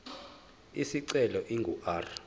isicelo ingu r